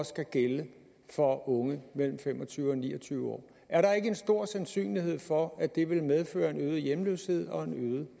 skal gælde for unge mellem fem og tyve og ni og tyve år er der ikke en stor sandsynlighed for at det vil medføre en øget hjemløshed og en øget